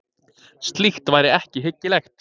Slíkt væri ekki hyggilegt